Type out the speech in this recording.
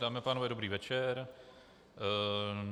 Dámy a pánové, dobrý večer.